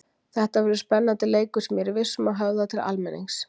Þetta verður spennandi leikur sem ég er viss um að höfðar til almennings.